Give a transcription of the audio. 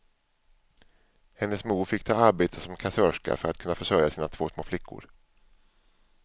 Hennes mor fick ta arbete som kassörska för att kunna försörja sina två små flickor.